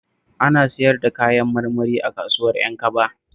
Ina siyar da Kayan marmari a kasuwar Ƴankaba